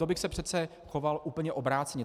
To bych se přece choval úplně obráceně.